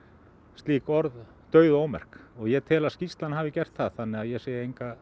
slík orð dauð og ómerk og ég tel að skýrslan hafi gert það þannig að ég sé enga